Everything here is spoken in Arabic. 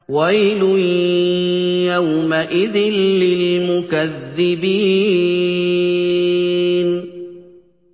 وَيْلٌ يَوْمَئِذٍ لِّلْمُكَذِّبِينَ